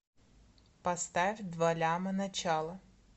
поставь два ляма начало